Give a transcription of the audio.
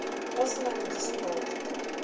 go se na le distopo